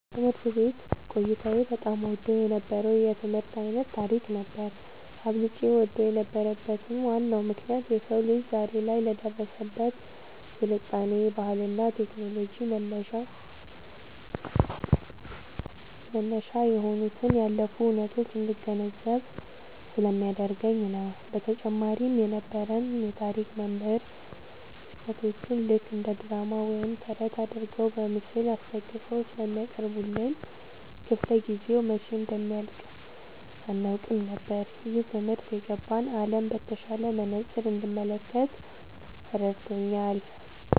ትምህርት ቤት ቆይታዬ በጣም እወደው የነበረው የትምህርት ዓይነት ታሪክ ነበር። አብልጬ እወደው የነበረበት ዋናው ምክንያት የሰው ልጅ ዛሬ ላይ ለደረሰበት ስልጣኔ፣ ባህልና ቴክኖሎጂ መነሻ የሆኑትን ያለፉ ሁነቶች እንድገነዘብ ስለሚያደርገኝ ነው። በተጨማሪም የነበረን የታሪክ መምህር ክስተቶቹን ልክ እንደ ድራማ ወይም ተረት አድርገው በምስል አስደግፈው ስለሚያቀርቡልን፣ ክፍለ-ጊዜው መቼ እንደሚያልቅ አናውቅም ነበር። ይህ ትምህርት የነገን ዓለም በተሻለ መነጽር እንድመለከት ረድቶኛል።"